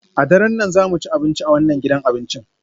A daren nan za mu ci abinci a wannan gidan abincin?